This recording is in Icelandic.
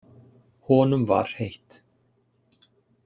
Honum var heitt.